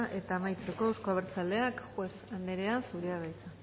eta amaitzeko euzko abertzaleak juez anderea zurea da hitza